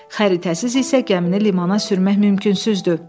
Xəritəsiz isə gəmini limana sürmək mümkünsüzdür.